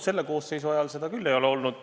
Selle koosseisu ajal seda küll ei ole olnud.